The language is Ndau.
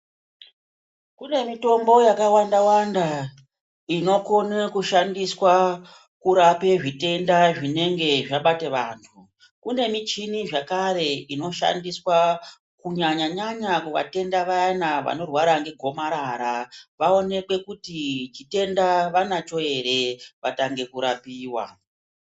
Kune mitombo yakawanda-wanda inokone kushandiswa kurape zvitenda zvinenge zvabate vantu. Kune michini zvakare inoshandiswa Kunyanyanyanya kuvatenda vayana vanorwara ngegomarara vaonekwe kuti chitenda vanacho ere vatange kurapiwa.